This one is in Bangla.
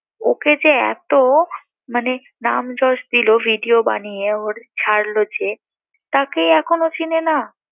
ওকে যে এত মানে নাম-যশ দিল, ভিডিও বানিয়ে ওর ছাড়লো যে তাকেই এখন ও চিনে না